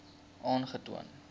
aangetoon